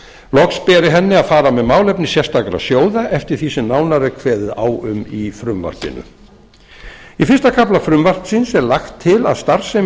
loks beri henni að fara með málefni sérstakra sjóða eftir því sem nánar er kveðið á um í frumvarpinu í fyrsta kafla frumvarpsins er lagt